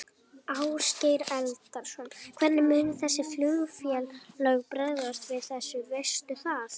Ásgeir Erlendsson: Hvernig munu þessi flugfélög bregðast við þessu, veistu það?